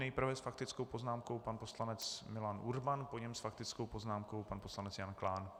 Nejprve s faktickou poznámkou pan poslanec Milan Urban, po něm s faktickou poznámkou pan poslanec Jan Klán.